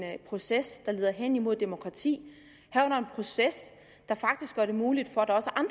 proces der leder hen imod demokrati herunder en proces der faktisk gør det muligt